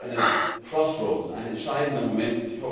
Das ist wirklich ein entscheidender Moment.